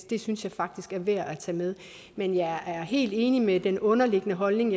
det synes jeg faktisk er værd at tage med men jeg er helt enig i den underliggende holdning